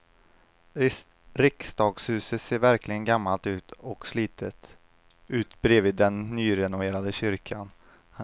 Riksdagshuset ser verkligen gammalt och slitet ut bredvid den nyrenoverade kyrkan.